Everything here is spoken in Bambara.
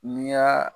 N'i y'a